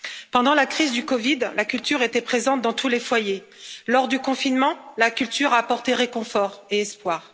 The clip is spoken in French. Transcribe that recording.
Pendant la crise de la COVID, la culture était présente dans tous les foyers. Lors du confinement, la culture a apporté réconfort et espoir.